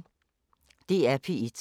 DR P1